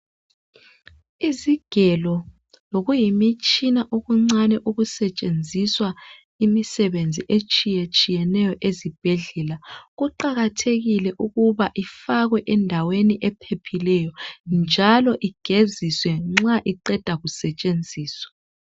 Isigelo lokuyimitshina okuncane okusentshenziswa imisebenzi etshiyetshiyeneyo ezibhedlela kuqakathekile ukuba ifakwe endaweni ephephileyo njalo igeziswe njalo nja iqendwa ukusentshenziswa